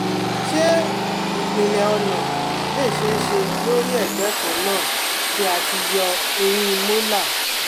Se ipinle ona le se se lori egbe kan na ti a ti yo ehin molar